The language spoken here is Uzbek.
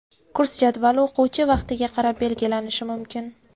Kurs jadvali o‘quvchi vaqtiga qarab belgilanishi mumkin.